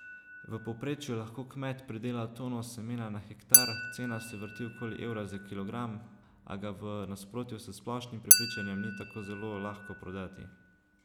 V povprečju lahko kmet pridela tono semena na hektar, cena se vrti okoli evra za kilogram, a ga v nasprotju s splošnim prepričanjem ni tako zelo lahko prodati.